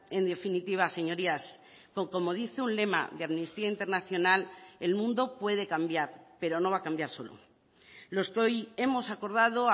en definitiva señorías como dice un lema de amnistía internacional el mundo puede cambiar pero no va a cambiar solo los que hoy hemos acordado